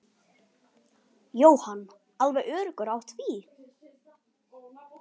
Hvíl í friði, Rakel frænka.